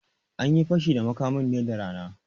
Anyi Fashi da makamin ne da rana